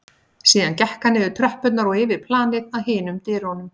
Síðan gekk hann niður tröppurnar og yfir planið að hinum dyrunum.